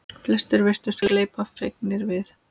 Flestir virtust gleypa fegnir við.